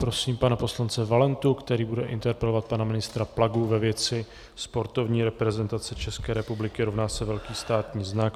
Prosím pana poslance Valentu, který bude interpelovat pana ministra Plagu ve věci sportovní reprezentace České republiky rovná se velký státní znak.